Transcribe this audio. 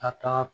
A kan ka